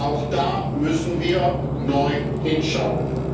Auch da müssen wir neu hinschauen.